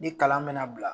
Ni kalan mɛna bila